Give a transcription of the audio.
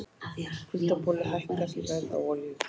Kuldaboli hækkar verð á olíu